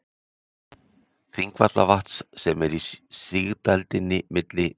Þingvallavatns sem er í sigdældinni milli